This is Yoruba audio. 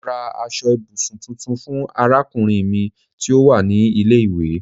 Mo rà aṣọ ibùsùn tuntun fún arákùnrin mi tí ó wà ní ilé ìwé